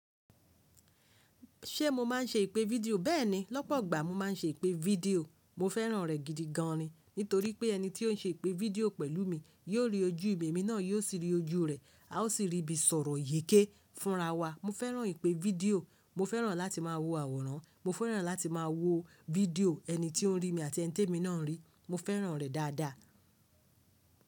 Ṣé mo máa ń ṣe ìpè fídíò? Bẹ́ẹ̀ni, lọ́pọ̀ igbà mo máa ń ṣe ìpè fídíò. Mo fẹ́ràn rẹ̀ gidi gan ni. Nítorí pé ẹni tí ó ń ṣe ìpè fídíò pẹ̀lú mi yó rí ojú mi emi náà, yóò sì rí ojú rè, a ó sì rí ibi sọ̀rọ̀ yeké fúnra wa. Mo fẹ́ràn ìpè fídíò, mo fẹ́ràn láti máa wo àwòrán, mo fẹ́ràn láti máa wo fídíò ẹni tí ó ń rí mi àti ẹni tí èmi náà ń rí. Mo fẹ́ràn rẹ̀ dáadáa.